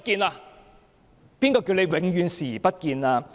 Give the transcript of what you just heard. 其實，誰叫他永遠視而不見？